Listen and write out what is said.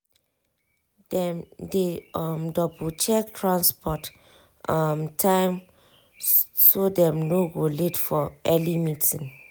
dem dey um double check transport um time so dem no go late for early meeting.